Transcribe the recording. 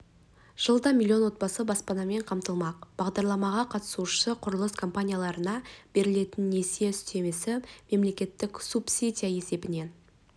жылда миллион отбасы баспанамен қамтылмақ бағдарламаға қатысушы құрылыс компанияларына берілетін несие үстемесі мемлекеттік субсидия есебінен